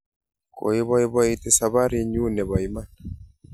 Koipoipoiti saparinnyu ne po iman